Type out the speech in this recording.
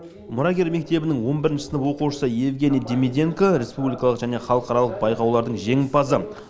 мұрагер мектебінің он бірінші сынып оқушысы евгений демиденко республикалық және халықаралық байқаулардың жеңімпазы